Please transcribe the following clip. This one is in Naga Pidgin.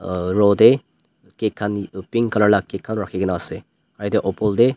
row tae cake khan pink colour la cake khan rakhikae na ase.